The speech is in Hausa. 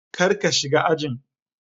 kar ka shiga ajin.